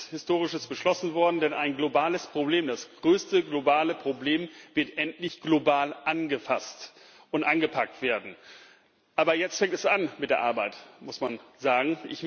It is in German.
Frau Präsidentin! Ich glaube, es ist Historisches beschlossen worden, denn ein globales Problem, das größte globale Problem, wird endlich global angefasst und angepackt werden. Aber jetzt fängt es an mit der Arbeit, muss man sagen.